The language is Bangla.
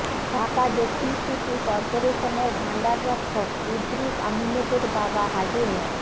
ঢাকা দক্ষিণ সিটি করপোরেশনের ভাণ্ডার রক্ষক ইদ্রিস আহম্মেদের বাবা হাজি মো